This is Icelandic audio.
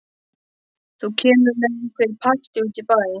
Þú kemur með okkur í partí út í bæ.